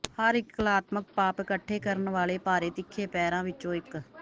ਹਰ ਇੱਕ ਕਲਾਤਮਕ ਪਾਪ ਇਕੱਠੇ ਕਰਨ ਵਾਲੇ ਭਾਰੇ ਤਿੱਖੇ ਪੈਰਾਂ ਵਿੱਚੋਂ ਇੱਕ